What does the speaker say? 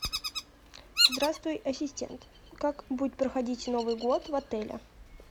здравствуй ассистент как будет проходить новый год в отеле